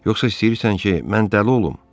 Yoxsa istəyirsən ki, mən dəli olum?